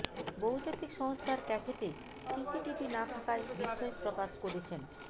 বহুজাতিক সংস্থার ক্যাফেতে সিসিটিভি না থাকায় বিস্ময় প্রকাশ করেছেন